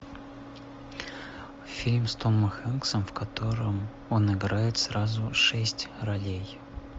фильм с томом хэнксом в котором он играет сразу шесть ролей